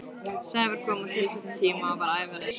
Sævar kom á tilsettum tíma og var ævareiður.